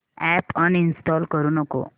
app uninstall करू नको